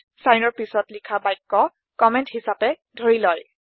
চাইনৰ পাছত লিখা বাক্য কম্মেন্ট হিছাপে ধৰি লয়